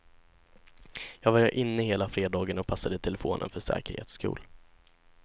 Jag var inne hela fredagen och passade telefonen för säkerhets skull.